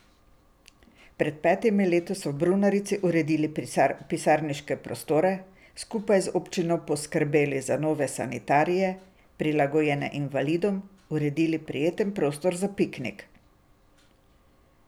Pred petimi leti so v brunarici uredili pisarniške prostore, skupaj z občino poskrbeli za nove sanitarije, prilagojene invalidom, uredili prijeten prostor za piknik.